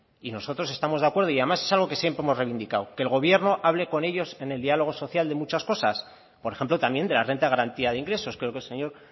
y nosotros estamos de acuerdo y además es algo que siempre hemos revindicado que el gobierno hable con ellos en el diálogo social de muchas cosas por ejemplo también de la renta de garantía de ingresos creo que el señor